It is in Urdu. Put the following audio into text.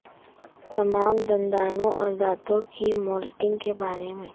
تمام دندانوں اور دانتوں کی مولڈنگ کے بارے میں